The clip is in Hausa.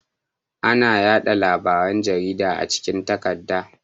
Ana yaɗa labaran jarida a cikin takarda.